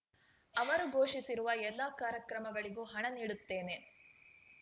ಅವರು ಘೋಷಿಸಿರುವ ಎಲ್ಲಾ ಕಾರ್ಯಕ್ರಮಗಳಿಗೂ ಹಣ ನೀಡುತ್ತೇನೆ